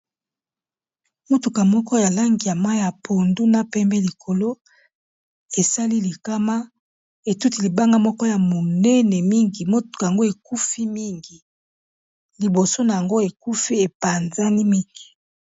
Motuka moko ya langi ya mayi ya pondu na pembe likolo e sali likama, e tuti libanga moko ya monene mingi, motuka yango ekufi mingi liboso na yango ekufi e panzani mingi .